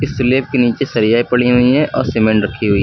slab के नीचे सरिया पड़ी हुई है और सीमेंट रखी हुई--